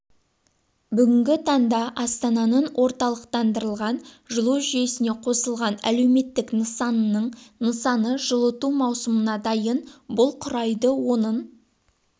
бүгінгі таңда астананың орталықтандырылған жылу жүйесіне қосылған әлеуметтік нысанының нысаны жылыту маусымына дайын бұл құрайды оның